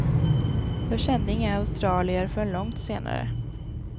Jag kände inga australier förrän långt senare.